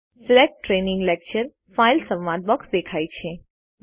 select training lecture file સંવાદ box દેખાય છે